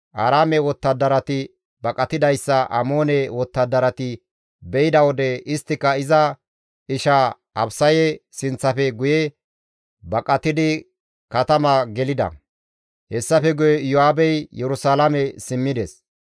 Aaraame wottadarati baqatidayssa Amoone wottadarati be7ida wode isttika iza isha Abisaye sinththafe guye baqatidi katama gelida; hessafe guye Iyo7aabey Yerusalaame simmides.